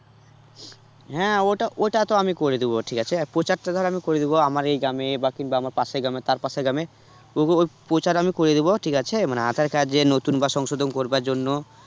হ্যাঁ ওটা ওটা তো আমি করে দেব ঠিক আছে প্রচার তো ধর আমি করে দেব আমার এই গ্রামে, বা কিংবা পাশের গ্রামে তার পাশের গ্রামে ওই প্রচার আমি করে দেব ঠিক আছে মানে আঁধার card যে নতুন বা সংশোধন করবার জন্য